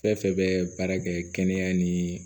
Fɛn fɛn bɛ baara kɛ kɛnɛya ni